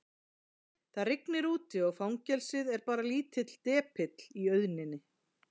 Það rignir úti og fangelsið er bara lítill depill í auðninni.